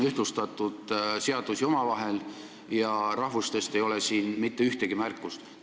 Seadusi on omavahel ühtlustatud ja rahvuste kohta ei ole siin mitte ühtegi märkust.